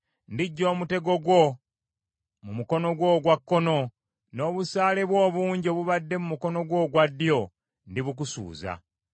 Ndiggya omutego gwo mu mukono gwo ogwa kkono; n’obusaale bwo obungi obubadde mu mukono gwo ogwa ddyo, ndibukusuuza.